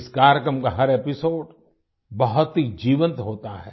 इस कार्यक्रम का हर एपिसोड बहुत ही जीवंत होता है